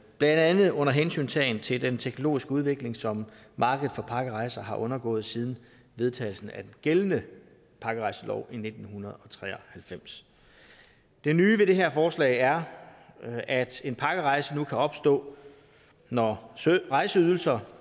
blandt andet under hensyntagen til den teknologiske udvikling som markedet for pakkerejser har undergået siden vedtagelsen af den gældende pakkerejselov i nitten tre og halvfems det nye ved det her forslag er at en pakkerejse nu kan opstå når rejseydelser